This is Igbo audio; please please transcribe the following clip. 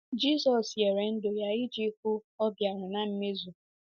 Jizọs nyere ndụ ya iji hụ ọ bịara na mmezu.